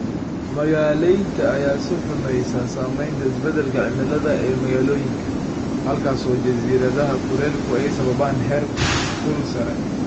Magaaleynta ayaa sii xumeysa saameynta isbeddelka cimilada ee magaalooyinka, halkaas oo jasiiradaha kulaylku ay sababaan heerkul sare.